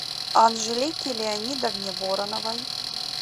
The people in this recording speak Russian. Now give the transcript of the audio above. анжелике леонидовне вороновой